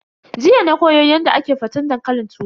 Jiya na koyo Yadda ake faten dankalin turawa.